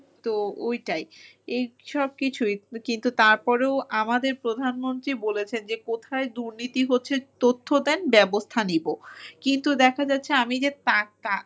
তো ওইটাই। এইসব কিছুই। কিন্তু তারপরেও আমাদের প্রধানমন্ত্রী বলেছেন যে কোথায় দুর্নীতি হচ্ছে তথ্য দেন ব্যবস্থা নিবো। কিন্তু দেখা যাচ্ছে আমি যে .